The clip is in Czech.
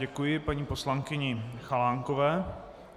Děkuji paní poslankyni Chalánkové.